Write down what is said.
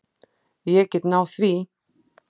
Ég get náð því.